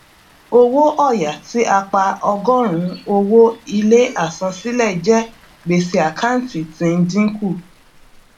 owó òya tí a pa ọgórùnún owó ilé àsansílẹ jẹ gbèsè àkántì tí ń dínkù